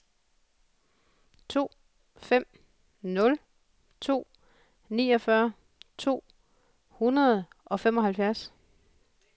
to fem nul to niogfyrre to hundrede og femoghalvfems